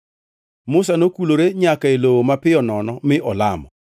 Musa nokulore nyaka e lowo mapiyo nono mi olamo.